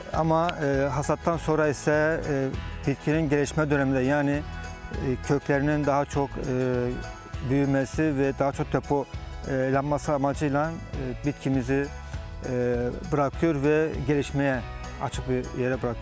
Ama hasattan sonra isə bitkinin gəlişmə dövründə, yəni köklərinin daha çox büyümesi və daha çox depo laması amacıyla bitkimizi bırakıyor və gəlişməyə açıq bir yerə bırakıyoruz.